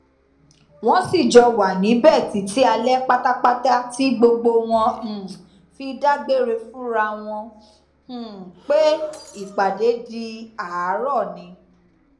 wọn sì jọ wà níbẹ títí alẹ pátápátá tí gbogbo wọn um fi dágbére fúnra wọn um pé ìpàdé di àárọ ni